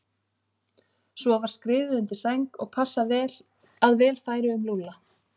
Svo var skriðið undir sæng og passað að vel færi um Lúlla.